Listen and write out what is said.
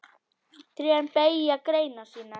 Trén beygja greinar sínar.